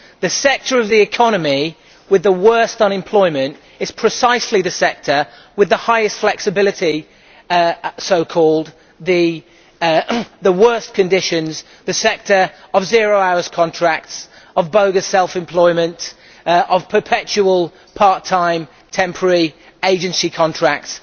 The sector of the economy with the worst unemployment is precisely the sector with the highest so called flexibility and the worst conditions the sector of zero hours contracts, of bogus self employment and of perpetual part time temporary agency contracts.